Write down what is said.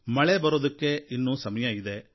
ಮಳೆ ಬರೋದಕ್ಕೆ ಇನ್ನೂ ಸಮಯ ಇದೆ